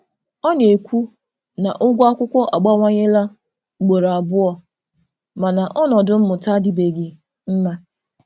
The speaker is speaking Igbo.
Ọ na-ekwu na ụgwọ akwụkwọ abawanyela ugboro abụọ, mana ọnọdụ mmụta adịbeghị mma.